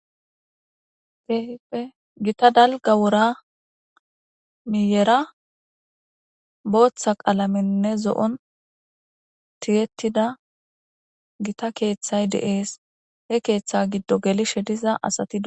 Teehippe gita dalga wora miyera booththa qalamenne zo'on tiyettida gita keeththay deees he keeththe giddo gelishe diza asati.